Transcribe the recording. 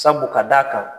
Sabu ka d'a kan